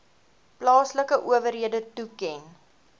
plaaslike owerhede toeken